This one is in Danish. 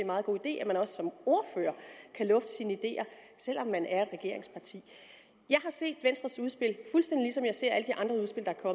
meget god idé at man også som ordfører kan lufte sine ideer selv om man er i et regeringsparti jeg har set venstres udspil fuldstændig ligesom jeg ser jeg